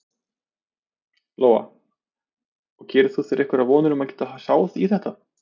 Lóa: Og gerir þú þér einhverjar vonir um að geta sáð í þetta?